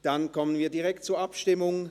Dann kommen wir direkt zur Abstimmung.